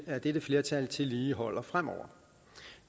at dette flertal tillige holder fremover